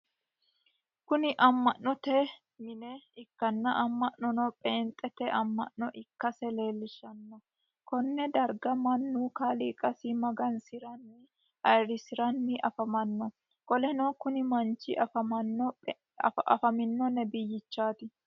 Kunni ama'note mine ikanna ama'nono peenxeete ama'no ikase leelishano konne darga Manu kaaliiqasi magansiranni ayirisoranni afamano. Qoleno kunni manchi afamino nebiyichaati.